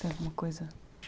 Tem alguma coisa